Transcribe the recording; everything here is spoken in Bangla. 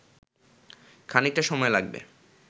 খানিকটা সময় লাগবে